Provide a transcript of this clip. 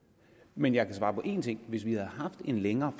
men jeg kan svare på en ting hvis vi havde haft en længere